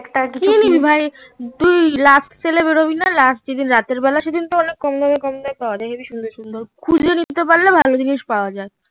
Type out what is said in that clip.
কি ভাই তুই last sale এ বেরোবিনা রাতের বেলা রাত জেগে রাতের বেলা কম দামে কম দামে করে খুব সুন্দর সুন্দর খুঁজে নিতে পারলে ভালো জিনিস পাওয়া যায়